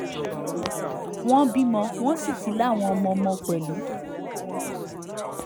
wọ́n bímọ wọ́n sì ti láwọn ọmọọmọ pẹ̀lú